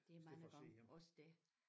Det er mange gange også det